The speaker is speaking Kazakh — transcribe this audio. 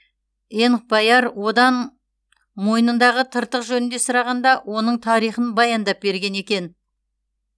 энхбаяр одан мойнындағы тыртық жөнінде сұрағанда оның тарихын баяндап берген екен